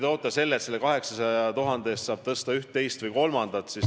Te pakute, et selle 800 000 euro eest saab tõsta ühte, teist või kolmandat palka.